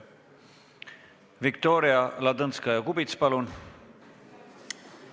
Viktoria Ladõnskaja-Kubits, palun!